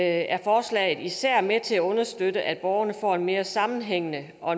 at forslaget især er med til at understøtte at borgerne får en mere sammenhængende og